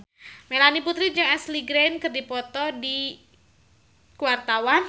Melanie Putri jeung Ashley Greene keur dipoto ku wartawan